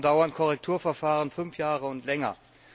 Warum dauern Korrekturverfahren fünf Jahre und länger?